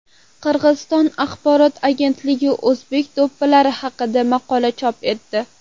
Qirg‘iziston axborot agentligi o‘zbek do‘ppilari haqida maqola chop etdi.